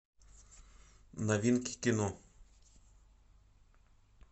новинки кино